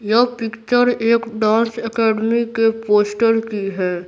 यह पिक्चर एक dance academy के पोस्टर की है।